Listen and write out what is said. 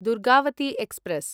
Durgavati express